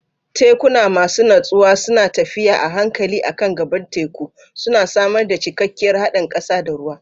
Tekuna masu natsuwa suna tafiya a hankali a kan gaɓar teku, suna samar da cikakkiyar haɗin ƙasa da ruwa.